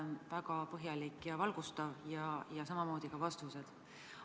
See oli väga põhjalik ja valgustav, samamoodi ka vastused.